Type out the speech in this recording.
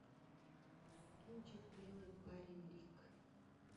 кинчик белый парень рик